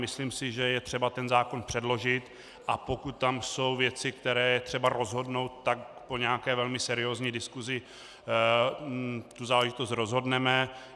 Myslím si, že je třeba ten zákon předložit, a pokud tam jsou věci, které je třeba rozhodnout, tak po nějaké velmi seriózní diskusi tu záležitost rozhodneme.